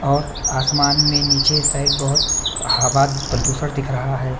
और आसमान में नीचे साइड बहुत हवा प्रदूषण दिख रहा है।